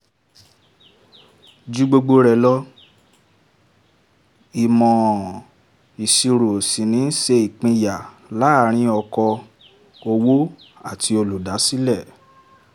ju gbogbo rẹ̀ lọ ìmọ̀ ìṣirò ṣì ń ṣe ìpínyà láàárín okò-òwò àti olùdásílẹ̀.